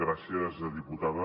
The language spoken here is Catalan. gràcies diputada